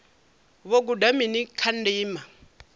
vho guda mini kha ndima